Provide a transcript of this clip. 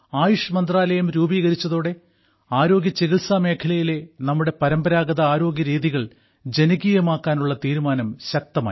ആയുഷ് മന്ത്രാലയം രൂപീകരിച്ചതോടെ ആരോഗ്യ ചികിത്സാ മേഖലയിലെ നമ്മുടെ പരമ്പരാഗത ആരോഗ്യരീതികൾ ജനകീയമാക്കാനുള്ള തീരുമാനം ശക്തമായി